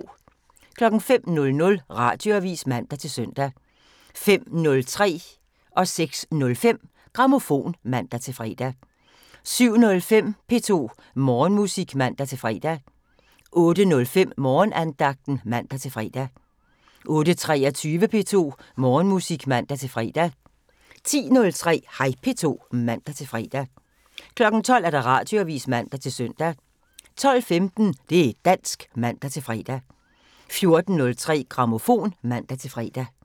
05:00: Radioavisen (man-søn) 05:03: Grammofon (man-søn) 06:05: Grammofon (man-fre) 07:05: P2 Morgenmusik (man-fre) 08:05: Morgenandagten (man-fre) 08:23: P2 Morgenmusik (man-fre) 10:03: Hej P2 (man-fre) 12:00: Radioavisen (man-søn) 12:15: Det' dansk (man-fre) 14:03: Grammofon (man-fre)